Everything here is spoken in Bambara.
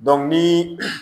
ni